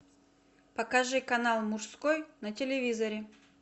покажи канал мужской на телевизоре